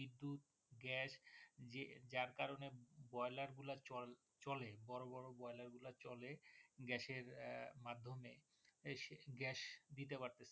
Gas যার কারনে Boiler গুলা চলে বড় বড় Boiler গুলো চলে Gas এর মাধ্যমে এই Gas দিতে পারতেসে।